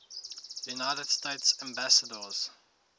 united states ambassadors